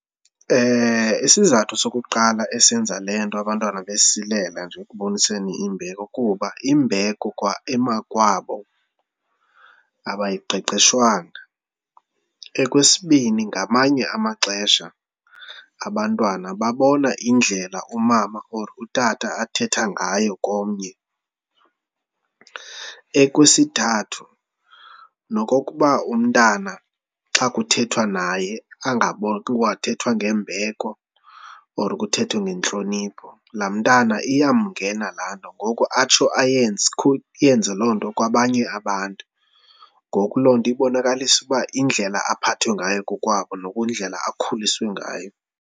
Isizathu sokuqala esenza le nto abantwana besilela nje ekuboniseni imbeko kuba imbeko kwa emakwabo abayiqeqeshwanga. Okwesibini, ngamanye amaxesha abantwana babona indlela umama or utata athetha ngayo komnye. Okwesithathu, nokokuba umntana xa kuthethwa naye kwathethwa ngembeko or kuthethwe ngentlonipho, laa mntana iyangena laa nto ngoku atsho ayenze, yenze loo nto kwabanye abantu. Ngoku loo nto ibonakalisa ukuba indlela aphathwe ngayo kokwabo nakwindlela akhuliswe ngayo.